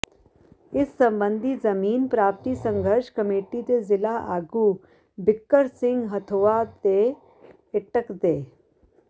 ਇਸ ਸਬੰਧੀ ਜ਼ਮੀਨ ਪ੍ਰਰਾਪਤੀ ਸੰਘਰਸ਼ ਕਮੇਟੀ ਦੇ ਜ਼ਿਲ੍ਹਾ ਆਗੂ ਬਿੱਕਰ ਸਿੰਘ ਹਥੋਆ ਤੇ ਏਟਕ ਦੇ